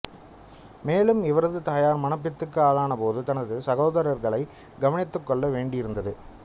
மேலும் இவரது தாயார் மனப்பித்துக்கு ஆளான போது தனது சகோதரர்களை கவனித்துக் கொள்ள வேண்டியிருந்தது